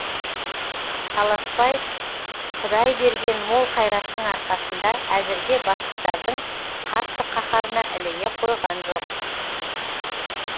таласбай құдай берген мол қайраттың арқасында әзірге бастықтардың қатты қаһарына іліге қойған жоқ